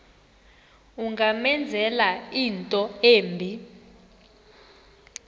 ungamenzela into embi